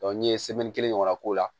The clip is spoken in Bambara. n ye kelen ɲɔgɔn na k'o la